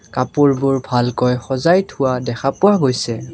কাপোৰবোৰ ভালকৈ সজাই থোৱা দেখা পোৱা গৈছে।